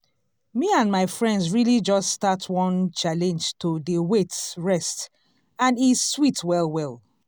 me and my friends really just start one challenge to dey wait rest and e sweet well well.